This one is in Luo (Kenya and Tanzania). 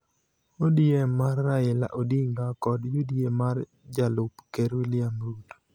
ODM mar Raila Odinga kod UDA mar jalup ker William Ruto.